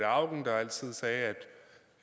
auken der altid sagde